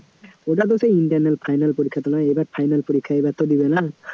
ওটা তো সেই internal final পরীক্ষা তো নয় এবার final পরীক্ষায় এবার তো দেবে না